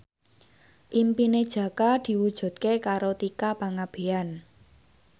impine Jaka diwujudke karo Tika Pangabean